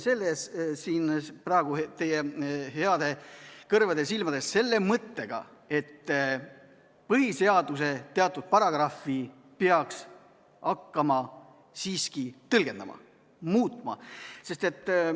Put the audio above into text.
Me oleme siin praegu teie heade kõrvade ja silmade ees selle mõttega, et põhiseaduse teatud paragrahvi peaks hakkama siiski tõlgendama, muutma.